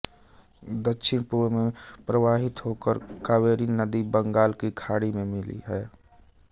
दक्षिण पूर्व में प्रवाहित होकर कावेरी नदी बंगाल की खाड़ी में मिली है